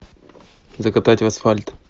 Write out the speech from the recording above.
закатать в асфальт